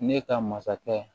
Ne ka masakɛ